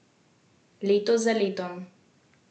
Leto za letom.